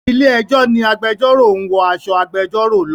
Ilé ẹjọ́ ni agbẹjọ́rò ń wọ aṣọ agbẹjọ́rò lọ.